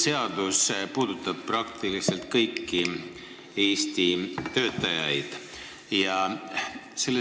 See seadus puudutab praktiliselt kõiki Eesti töötajaid.